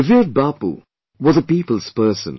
Revered Babu was a people's person